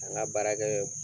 Taa ŋa baarakɛ